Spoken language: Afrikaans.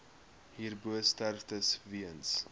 hierbo sterftes weens